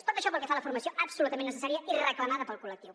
tot això pel que fa a la formació absolutament necessària i reclamada pel col·lectiu